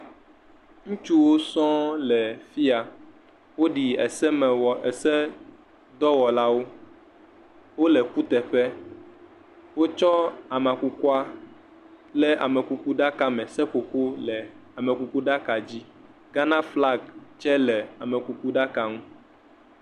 Ŋutsuwo sɔŋ le fiya, wo ɖi esemewɔ, ese dɔwɔlawo, wòle kuteƒe. Wo tsɔ ame kukua le amekuku ɖaka me, seƒoƒo le amekuku ɖaka dzi, Ghana flag tsɛ le amekuku ɖaka ŋu.